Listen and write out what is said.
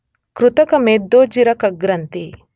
ಕೃತಕ ಮೇದೋಜ್ಜೀರಕಗ್ರಂಥಿ